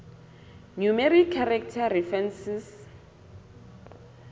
numeric character references